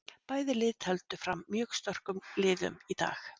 Bæði lið tefldu fram mjög sterkum liðum í dag.